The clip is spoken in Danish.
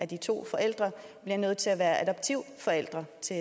de to forældre er nødt til at være adoptivforælder til